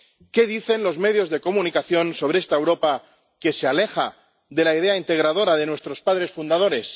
¿Qué dicen los medios de comunicación sobre esta Europa que se aleja de la idea integradora de nuestros padres fundadores?